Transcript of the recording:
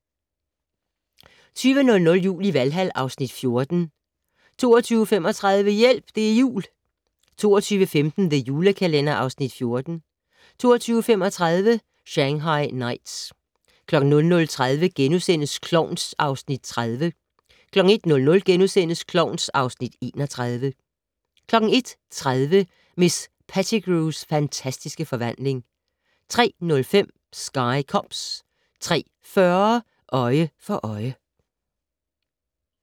20:00: Jul i Valhal (Afs. 14) 20:35: Hjælp! Det er jul! 22:15: The Julekalender (Afs. 14) 22:35: Shanghai Knights 00:30: Klovn (Afs. 30)* 01:00: Klovn (Afs. 31)* 01:30: Miss Pettigrews fantastiske forvandling 03:05: Sky Cops 03:40: Øje for Øje